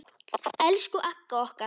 Elsku Agga okkar.